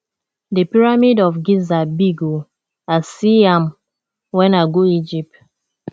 the pyramid of giza big oo i see am wen i go egypt